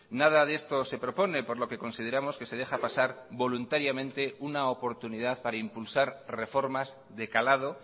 nada de esto se propone por lo que consideramos que se deja pasar voluntariamente una oportunidad para impulsar reformas de calado